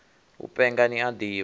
u penga ni a ḓivha